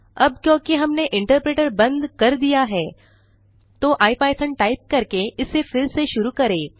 अब क्योंकि हमने इंटरप्रेटर बंद कर दिया है तो इपिथॉन टाइप करके इसे फिर से शुरू करें